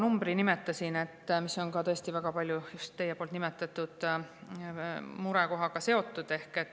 Ma nimetasin selle kurva numbri, mis on väga palju just teie nimetatud murekohaga seotud.